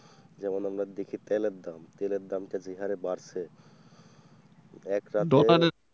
যেমন আপনার দেখি তেলের দাম তেলের দাম টা যে হারে বাড়ছে দোকানে,